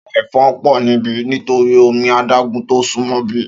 Áwòn èfòn pò nibi nitóri ómi àdágùn tó súnmò ibi